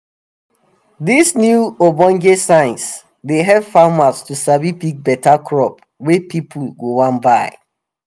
dis new ogbonge science dey um help farmers to sabi pick beta crop wey people um go wan buy.